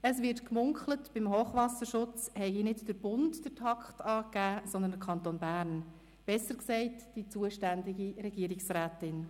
Es wird gemunkelt, beim Hochwasserschutz habe nicht der Bund den Takt angegeben, sondern der Kanton Bern, besser gesagt die zuständige Regierungsrätin.